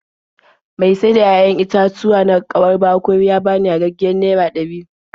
Mai sayar da 'ya'yan itatuwa na kauwar Bakori ya bani yagaggiyar naira ɗari.